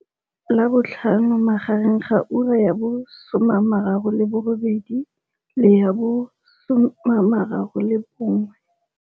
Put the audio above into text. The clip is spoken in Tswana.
Labotlhano magareng ga ura ya bo 08h30 le ya bo 13h30.